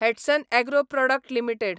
Hatsun agro product limited